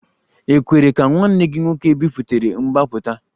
E kwere ka nwanne gị nwoke biputere mgbapụta?